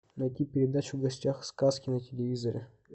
найти передачу в гостях у сказки на телевизоре